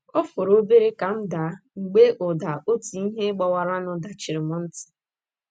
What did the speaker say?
Ọ fọrọ obere ka m daa, mgbe ụda otu ihe gbawaranụ dachiri mụ ntị.